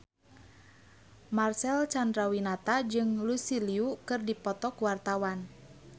Marcel Chandrawinata jeung Lucy Liu keur dipoto ku wartawan